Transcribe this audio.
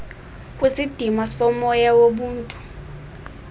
kwisidima somoya wobuntu